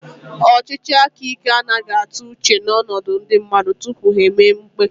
Ọchịchị aka ike anaghị atụ uche n'ọnọdụ ndị mmadụ tupu ha emee mkpebi